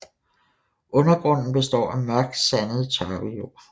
Undergrunden består af mørkt sandet tørvejord